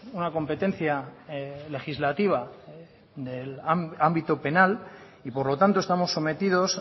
una competencia legislativa del ámbito penal y por lo tanto estamos sometidos